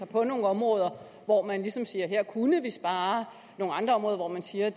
på nogle områder hvor man ligesom siger at her kunne vi spare og nogle andre områder hvor man siger